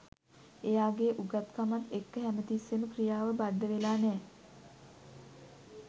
එයාගේ උගත්කමත් එක්ක හැම තිස්සේම ක්‍රියාව බද්ධවෙලා නෑ